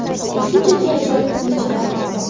Shunchaki ajoyib o‘yinchilar.